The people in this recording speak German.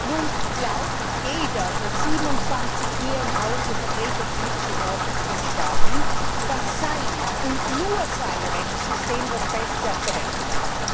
Nun glaubt jeder der 27 hier im Hause vertretenen Mitgliedstaaten, dass sein, und nur sein Rechtssystem das beste auf der Welt sei.